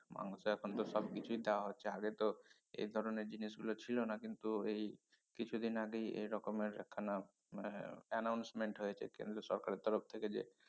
মাংস এখন তো সবকিছুই দেয়া হচ্ছে আগে তো এ ধরনের জিনিস গুলো ছিল না কিন্তু এই কিছুদিন আগেই এ রকমের একখানা মানে announcement হয়েছে কেন্দ্র সরকারের তরফ থেকে যে